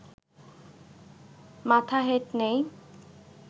মাথা হেট নেই